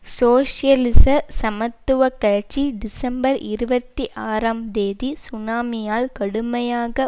சோசியலிச சமத்துவ கட்சி டிசம்பர் இருபத்தி ஆறாம் தேதி சுனாமியால் கடுமையாக